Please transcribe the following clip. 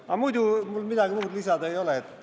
Aga muidu mul midagi muud lisada ei ole.